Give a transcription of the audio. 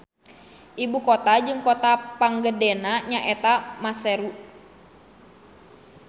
Ibu kota jeung kota panggedena nya eta Maseru.